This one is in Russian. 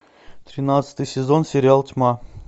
тринадцатый сезон сериал тьма